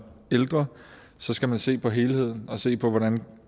ældre så skal man se på helheden og se på hvordan man